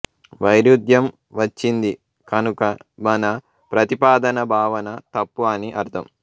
వైరుధ్యం వచ్చింది కనుక మన ప్రతిపాదన భావన తప్పు అని అర్థం